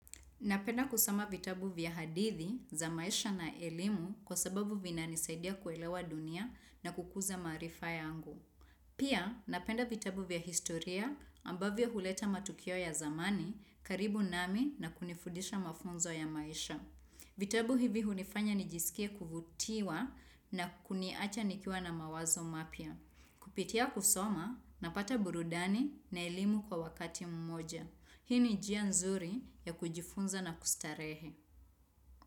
Napenda kusoma vitabu vya hadithi za maisha na elimu kwa sababu vinanisaidia kuelewa dunia na kukuza maarifa yangu. Pia napenda vitabu vya historia ambavyo huleta matukio ya zamani karibu nami na kunifudisha mafunzo ya maisha. Vitabu hivi hunifanya nijisikie kuvutiwa na kuniacha nikiwa na mawazo mapya. Kupitia kusoma napata burudani na elimu kwa wakati mmoja. Hii ni njia nzuri ya kujifunza na kustarehe.